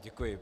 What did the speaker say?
Děkuji.